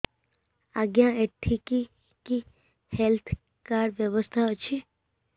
ଆଜ୍ଞା ଏଠି କି କି ହେଲ୍ଥ କାର୍ଡ ବ୍ୟବସ୍ଥା ଅଛି